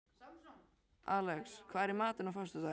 Alex, hvað er í matinn á föstudaginn?